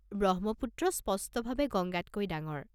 ব্ৰহ্মপুত্ৰ স্পষ্টভাৱে গংগাতকৈ ডাঙৰ।